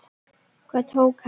Hvað tók hann?